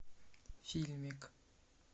фильмик